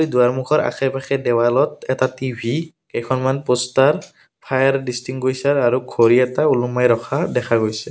দুৱাৰ মুখৰ আশে পাশে দেৱালত এটা টি_ভি কেইখনমান প'ষ্টাৰ ফায়াৰ দিষ্টিংগুইচাৰ আৰু ঘড়ী এটা ওলোমাই ৰখা দেখা গৈছে।